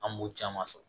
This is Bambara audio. An b'o caman sɔrɔ